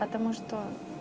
потому что